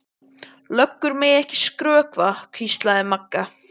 Löggur mega ekki skrökva, hvíslaði Magga.